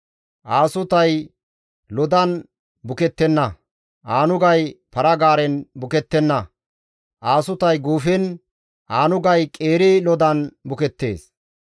Aasutay lodan bukettenna; aanugay para-gaaren bukettenna; aasutay guufen, aanugay qeeri lodan bukettees.